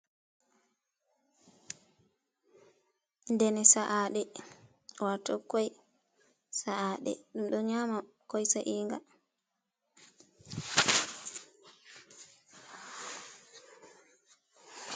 Dene sa'aɗe, waato ƙoi sa’aɗe. Ɗum ɗo nyaama ƙoi sa'inga.